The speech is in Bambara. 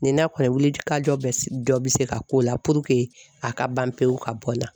Ni n'a kɔni ye wili ka jɔ bɛ dɔ bɛ se ka k'o la puruke a ka ban pewu ka bɔ n na